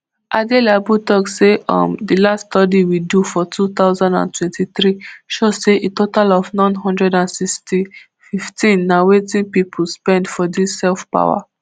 adelabu tok say um di last study we do for two thousand and twenty-three show say a total of n one hundred and sixty-fivetn na wetin pipo spend for dis self power generation